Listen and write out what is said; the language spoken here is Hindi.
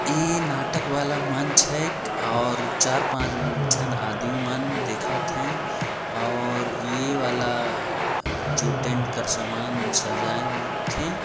ऐ नाटक वाला मंच हैं और चार पांच झन आदमी मन दिखत हैं और ये वाला जो टेंट का सामान सजाय थे।